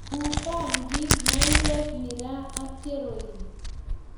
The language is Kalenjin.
ku bangik, maywek, miraa ak keroin